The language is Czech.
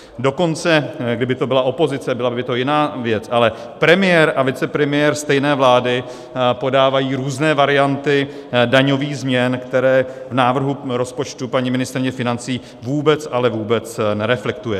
Dokonce kdyby to byla opozice, byla by to jiná věc, ale premiér a vicepremiér stejné vlády podávají různé varianty daňových změn, které v návrhu rozpočtu paní ministryně financí vůbec, ale vůbec nereflektuje.